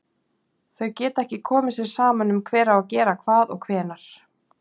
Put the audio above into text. Þau geta ekki komið sér saman um hver á að gera hvað og hvenær.